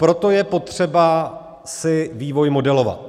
Proto je potřeba si vývoj modelovat.